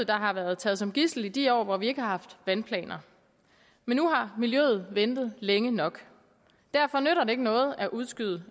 der har været taget som gidsel i de år hvor vi ikke har haft vandplaner men nu har miljøet ventet længe nok derfor nytter det ikke noget at udskyde